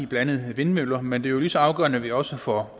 blandt andet vindmøller men det er jo lige så afgørende at vi også får